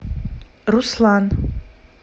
руслан